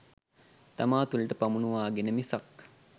තමා තුළට පමුණුවාගෙන මිසක්